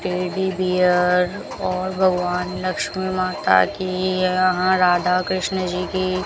teddy bear और भगवान लक्ष्मी माता की यहां राधा कृष्ण जी की --